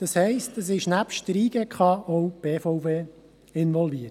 Das heisst, nebst der JGK ist auch die BVE involviert.